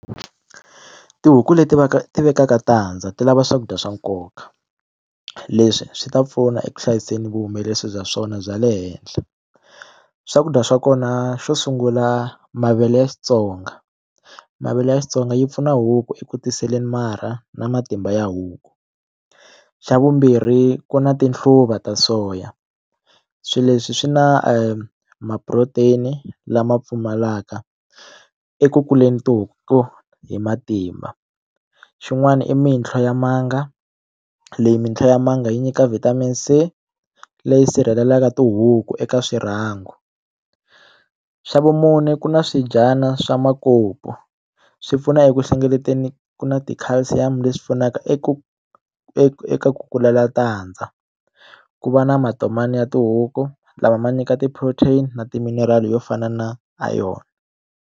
Tihuku leti ti vekaka tandza ti lava swakudya swa nkoka leswi swi ta pfuna eku hlayiseni vuhumelerisi bya swona bya le henhla swakudya swa kona xo sungula mavele ya Xitsonga mavele ya Xitsonga yi pfuna huku eku tiseleni marha na matimba ya huku xa vumbirhi ku na tihluva ta soya swilo leswi swi na ma protein lama pfumalaka eku kuleni tihuku hi matimba xin'wana i mintlho ya manga leyi mintlho ya manga yi nyika vitamin C leyi sirhelelaka tihuku eka swirhangu xa vumune ku na swidyana swa makoko swi pfuna eku hlengeleteni ku na ti calcium leswi pfunaka eku eka ku kula matandza ku va na matomani ya tihuku lama ma nyika ti protein na timinerali yo fana na iron.